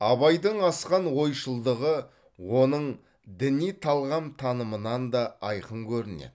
абайдың асқан ойшылдығы оның діни талғам танымынан да айқын көрінеді